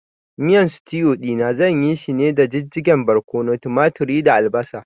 Miyan sitiu ɗina zan yishi ne daga jijjigen barƙwano, tumaturi da albasa